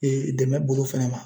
Ee dɛmɛ bolo fɛnɛ ma